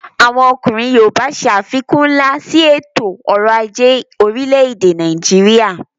Àwọn ọkùnrin yoòbá ṣe àfikún nlá sí ètò ọrọ̀ ajé orílẹ̀-èdè Nàìjíríyà